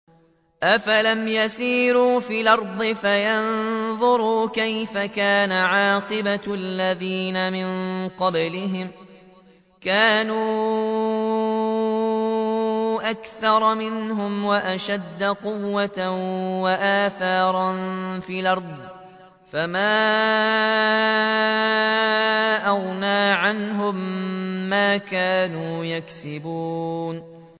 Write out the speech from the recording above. أَفَلَمْ يَسِيرُوا فِي الْأَرْضِ فَيَنظُرُوا كَيْفَ كَانَ عَاقِبَةُ الَّذِينَ مِن قَبْلِهِمْ ۚ كَانُوا أَكْثَرَ مِنْهُمْ وَأَشَدَّ قُوَّةً وَآثَارًا فِي الْأَرْضِ فَمَا أَغْنَىٰ عَنْهُم مَّا كَانُوا يَكْسِبُونَ